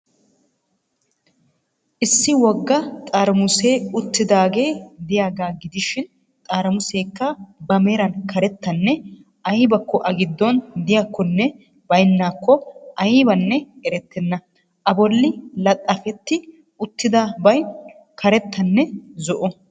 Issi wogga xaramusee uttidaagee de'iyaagaa gidishiin xaramuseekka ba meraan karettanne aybakko a gidoon de'iyakkonne baynnakkonne aybanne erettenna. A bolli laxxafetti uttida bay karettanne zo'o.